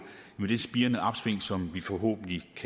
med det spirende opsving som vi forhåbentlig